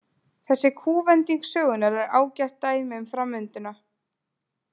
Þessi kúvending sögunnar er ágætt dæmi um framvinduna.